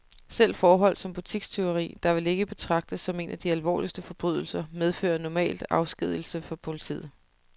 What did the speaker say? Selv forhold som butikstyveri, der vel ikke betragtes som en af de alvorligste forbrydelser, medfører normalt afskedigelse fra politiet.